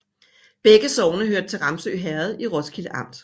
Begge sogne hørte til Ramsø Herred i Roskilde Amt